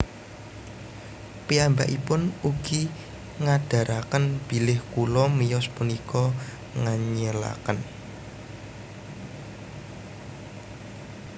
Piyambakipun ugi ngandharaken bilih Kula Miyos punika nganyelaken